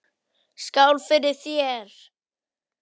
Skál fyrir þér!